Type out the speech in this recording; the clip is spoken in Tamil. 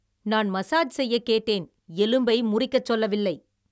நான் மசாஜ் செய்ய கேட்டேன், எலும்பை முறிக்கச் சொல்லவில்லை!